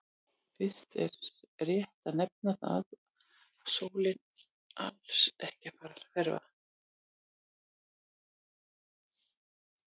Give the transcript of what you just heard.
Fyrst er rétt að nefna það að sólin er alls ekki að fara að hverfa!